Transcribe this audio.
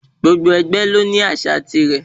Gbogbo ẹgbẹ́ ló ní ásíà tirẹ̀.